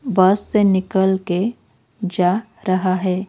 बस से निकल के जा रहा है।